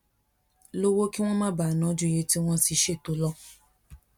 lówó kí wón má bàa ná ju iye tí wón ti ṣètò lọ